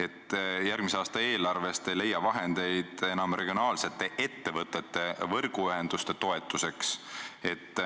miks järgmise aasta eelarvest ei leia enam vahendeid regionaalsete ettevõtete võrguühenduste toetuseks.